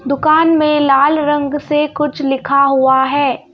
दुकान में लाल रंग से कुछ लिखा हुआ है.